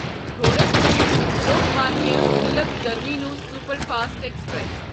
Gorakhpur Lokmanya Tilak terminus superfast express